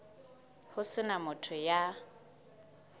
ho se na motho ya